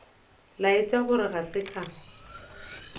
laetša gore ga se ka